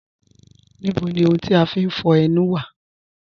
Níbò ni ọ̀hùn ti a fín fọ̀ ènù wa?